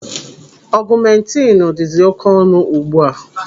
Ọgụmentinu dịzi oké ọnụ ugbu a.